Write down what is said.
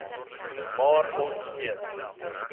maar ons weet